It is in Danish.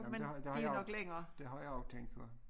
Men det her det har jeg jo det har jeg jo tænkt på